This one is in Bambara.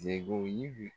Sebo yi